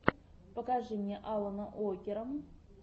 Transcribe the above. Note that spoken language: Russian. покажи мне алана уокера